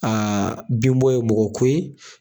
Aa bin bɔ ye bɔgɔ ko ye